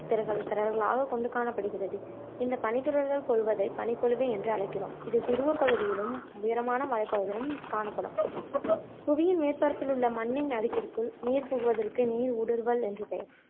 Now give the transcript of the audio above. கொண்டு காணப்படுகிறது இந்த பனித்துளிகள் பொழிவதை பனிப் பொழிவு என்று அழைக்கிறோம் இது துருவ பகுதியிலும் உயரமான மலை பகுதிகளிளும் காணப்படும் புவியில் மேற்பரப்பில் உள்ள மண்ணின் அடுக்கிற்குள் நீர் புகுவதற்கு நீர் ஊடுருவுதல் என்று பேயர்